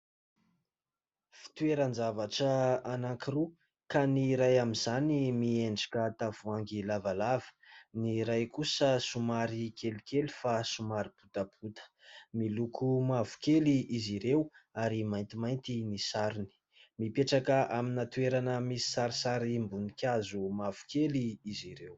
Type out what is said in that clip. Fitoeran-javatra anankiroa ka ny iray amin'izany miendrika tavoangy lavalava, ny iray kosa somary kely kely fa somary botabota miloko mavokely izy ireo, ary mainty mainty ny sarony. Mipetraka amina toerana misy sarisary ambony hazo mavokely izy ireo.